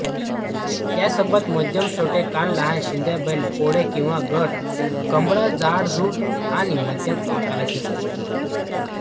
यासोबत मध्यमछोटे कान लहान शिंगे बैल पोळे किंवा गळ कंबळ जाडजूड आणि मध्यम आकाराची असते